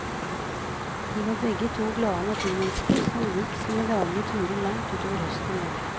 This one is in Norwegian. De var begge to glade naturmennesker som gikk sine daglige turer langt utover høsten i år.